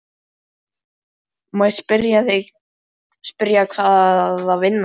Má ég spyrja hvaða vinna það er?